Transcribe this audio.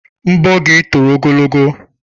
Nbọ gị toro ogologo.